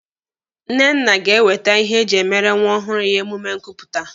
Nnenna ga-ewete ihe eji emere nwa ọhụrụ ya emume nkupụta.